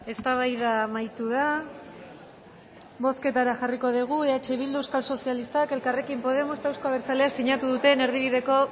eztabaida amaitu da bozketara jarriko dugu eh bildu euskal sozialistak elkarrekin podemos eta euzko abertzaleak sinatu duten erdibideko